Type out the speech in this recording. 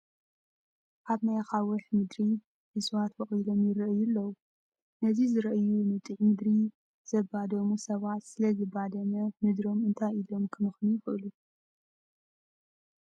ኣብ ናይ ኣኻውሕ ምድሪ እፅዋት ቦቊሎም ይርአዩ ኣለዉ፡፡ ነዚ ዝርአዩ ንጥዑይ ምድሪ ዘባደሙ ሰባት ስለ ዝባደመ ምድሮም እንታይ ኢሎም ከመኽንዩ ይኽእሉ?